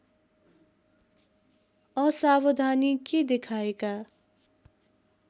असावधानी के देखाएका